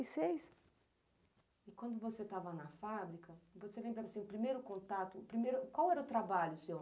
e seis. E quando você estava na fábrica, você lembra do seu primeiro contato, o primeiro, qual era o trabalho seu?